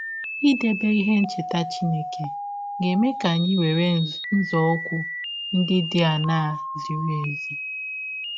Idebe ihe ncheta Chineke ga - eme ka anyị were nzọụkwụ ndị dị aṅaa zịrị ezi?